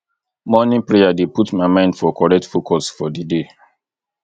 morning prayer dey put my mind for correct focus for di day